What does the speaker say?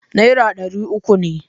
Nera ɗari uku ne.